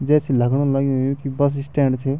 जैसी लगणु लग्युं यु कि बस स्टैंड च।